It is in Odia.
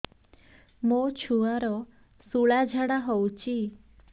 ମୋ ଛୁଆର ସୁଳା ଝାଡ଼ା ହଉଚି